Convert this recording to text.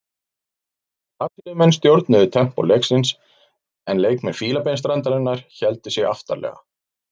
Brasilíumenn stjórnuðu tempó leiksins en leikmenn Fílabeinsstrandarinnar héldu sig aftarlega.